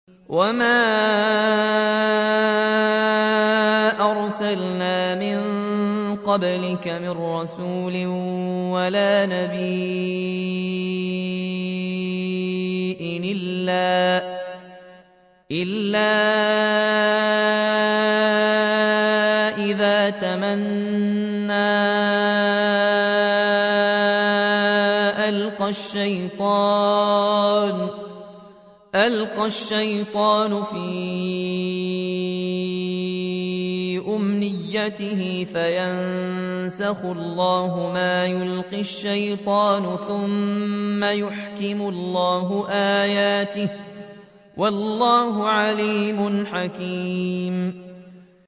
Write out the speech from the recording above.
وَمَا أَرْسَلْنَا مِن قَبْلِكَ مِن رَّسُولٍ وَلَا نَبِيٍّ إِلَّا إِذَا تَمَنَّىٰ أَلْقَى الشَّيْطَانُ فِي أُمْنِيَّتِهِ فَيَنسَخُ اللَّهُ مَا يُلْقِي الشَّيْطَانُ ثُمَّ يُحْكِمُ اللَّهُ آيَاتِهِ ۗ وَاللَّهُ عَلِيمٌ حَكِيمٌ